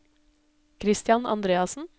Christian Andreassen